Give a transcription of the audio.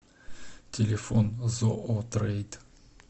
телефон зоотрейд